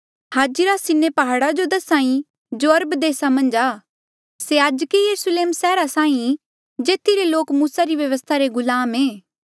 हाजिरा Sinai प्हाड़ा जो दस्हा ई जो अरब देसा मन्झ आ से आजके यरुस्लेम सैहरा साहीं जेथी रे लोक मूसा री व्यवस्था रे गुलाम ऐें